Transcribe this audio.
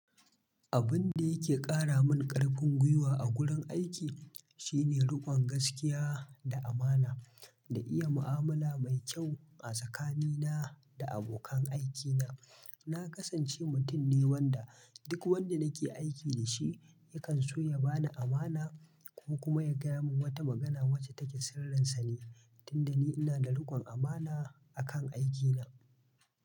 Abun da yake ƙara min ƙarfin gwiwa a gurin aiki shine riƙon gaskiya da amana, da iya mu'amala mai kyau, a tsakanina da abokan aikina. Na kasance mutum ne wanda, duk wanda nake aiki da sh, i yakan so ya bani amana ko kuma ya gaya min wata magana wacce take sirrinsa ne, tunda ni ina da riƙon amana akan aiki na.